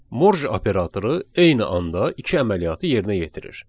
Morj operatoru eyni anda iki əməliyyatı yerinə yetirir.